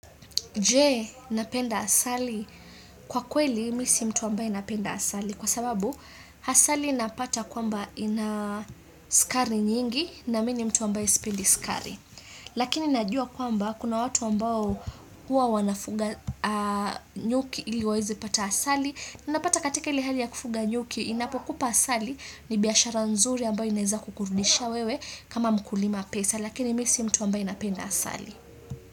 Je napenda asali? Kwa kweli mimi si mtu ambaye napenda asali kwa sababu asali napata kwamba ina sukari nyingi na mimi mtu ambaye sipendi sukari. Lakini najua kwamba kuna watu ambao huwa wanafuga nyuki ili wawezi pata asali. Napata katika ile hali ya kufuga nyuki inapokupa asali ni biashara nzuri ambayo inaweza kukurudisha wewe kama mkulima pesa lakini mimi si mtu ambaye napenda asali.